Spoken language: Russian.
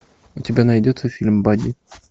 у тебя найдется фильм бадди